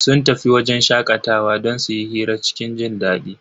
Sun tafi wajen shakatawa don su yi hira cikin jindadi.